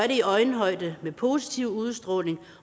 i øjenhøjde med positiv udstråling